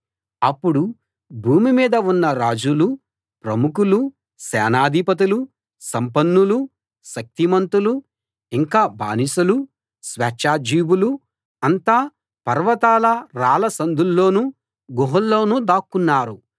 అప్పుడు భూమి మీద ఉన్న రాజులూ ప్రముఖులూ సేనాధిపతులూ సంపన్నులూ శక్తిమంతులూ ఇంకా బానిసలూ స్వేచ్ఛాజీవులూ అంతా పర్వతాల రాళ్ళ సందుల్లోనూ గుహల్లోనూ దాక్కున్నారు